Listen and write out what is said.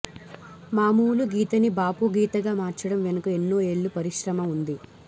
మామూలు గీతని బాపు గీతగా మార్చడం వెనుక ఎన్నో ఏళ్ళ పరిశ్రమ ఉంది